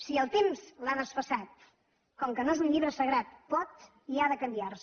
si el temps l’ha desfasat com que no és un llibre sagrat pot i ha de canviar se